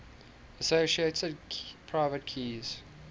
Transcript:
associated private keys